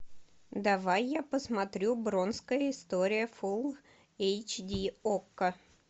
давай я посмотрю бронкская история фул эйч ди окко